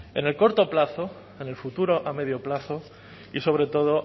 en el corto plazo en el futuro a medio plazo y sobre todo